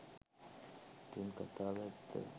ඉතිං කතාව ඇත්ත